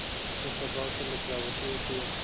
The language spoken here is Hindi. स्त्रियॉँ स्वभावतः लज्जावती होती हैं